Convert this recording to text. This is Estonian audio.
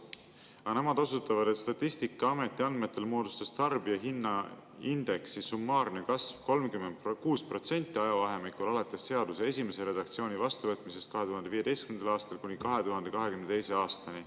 Aga nemad osutavad, et Statistikaameti andmetel moodustas tarbijahinnaindeksi summaarne kasv 36% ajavahemikul alates seaduse esimese redaktsiooni vastuvõtmisest 2015. aastal kuni 2022. aastani.